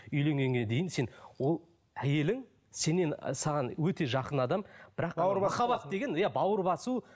үйленгенге дейін сен ол әйелің сеннен саған өте жақын адам бірақ махаббат деген иә бауыр басу